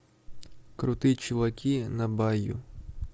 крутые чуваки на байю